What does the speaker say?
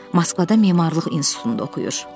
Moskvada memarlıq institutunda oxuyur.